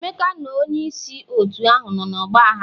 Emeka na onye isi otu ahụ nọ n'ọgba aghara.